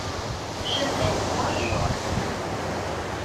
шинель можешь показать